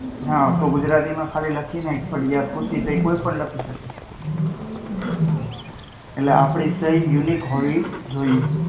હા. તું ગુજરાતી માં ખાલી લખી નાખ પઢીયા ખુશી તો એ કોઈ પણ લખી શકે. એટલે આપણી સહી unique હોવી જોઈએ.